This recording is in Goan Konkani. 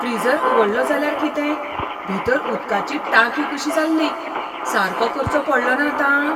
फ्रीजर उगडलो जाल्यार कितें? भितर उदकाची टांकी कशी जाल्ली. सारको करचो पडलोना आतां?